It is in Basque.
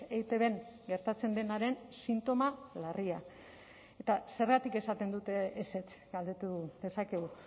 eitbn gertatzen denaren sintoma larria eta zergatik esaten dute ezetz galdetu dezakegu